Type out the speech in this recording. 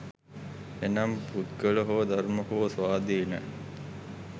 එනම් පුද්ගල හෝ ධර්ම හෝ ස්වාධීන